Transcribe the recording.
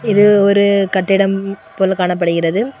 இது ஒரு கட்டிடம் போல காணப்படுகிறது.